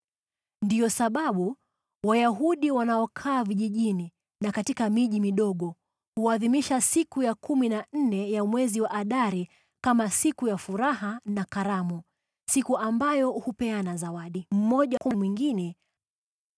Ndiyo sababu Wayahudi wanaokaa vijijini na katika miji midogo huadhimisha siku ya kumi na nne ya mwezi wa Adari kama siku ya furaha na karamu, siku ambayo wao hupeana zawadi mmoja kwa mwingine.